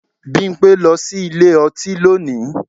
Bímpé lọ sí ilé ọtí lónìí